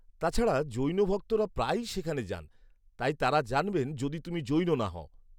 তাছাড়া, জৈন ভক্তরা প্রায়ই সেখানে যান, তাই তাঁরা জানবেন যদি তুমি জৈন না হও।